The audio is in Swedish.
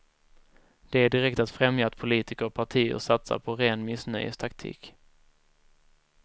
Det är direkt att främja att politiker och partier satsar på ren missnöjestaktik.